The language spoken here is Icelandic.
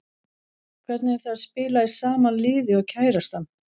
Hvernig er það að spila í sama liði og kærastan?